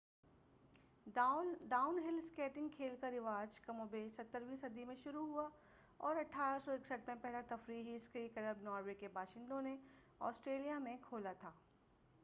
down hill skiing کھیل کا رواج کم و بیش 17ویں صدی میں شروع ہوا اور 1861 میں پہلا تفریحی اسکئی کلب ناروے کے باشندوں نے آسٹریلیا میں کھولا تھا